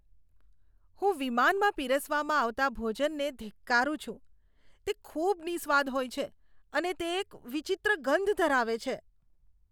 હું વિમાનમાં પીરસવામાં આવતા ભોજનને ધિક્કારું છું. તે ખૂબ નિસ્વાદ હોય છે અને તે એક વિચિત્ર ગંધ ધરાવે છે.